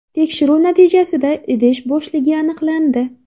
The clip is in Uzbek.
Tekshiruv natijasida idish bo‘shligi aniqlandi.